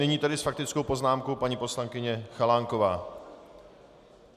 Nyní tedy s faktickou poznámkou paní poslankyně Chalánková.